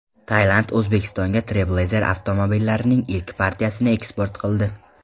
Tailand O‘zbekistonga Trailblazer avtomobillarining ilk partiyasini eksport qildi.